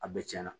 A bɛɛ tiɲɛna